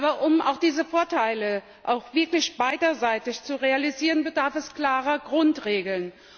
Aber um diese Vorteile auch wirklich für beide Seiten zu realisieren, bedarf es klarer Grundregeln.